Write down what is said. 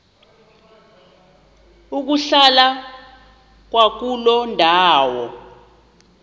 ukuhlala kwakuloo ndawo